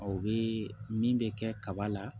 A bɛ min bɛ kɛ kaba la